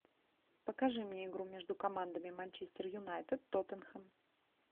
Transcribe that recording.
покажи мне игру между командами манчестер юнайтед тоттенхэм